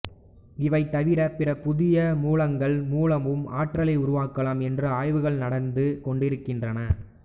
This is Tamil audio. இவை தவிரப் பிற புதிய மூலங்கள் மூலமும் ஆற்றாலை உருவாக்கலாம் என்று ஆய்வுகள் நடந்து கொண்டிருக்கின்றன